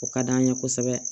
O ka d'an ye kosɛbɛ